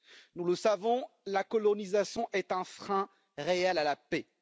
Nous le savons, la colonisation est un frein réel à la paix.